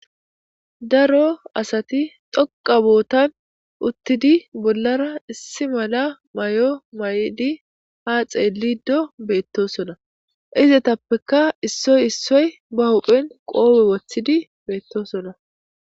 Daro asati toqa bootan uttidi bollara issi mala may'o may'di ha xeelido beettosona izetappeka issoy issoy ba huphen qoowi wothidi beettosona.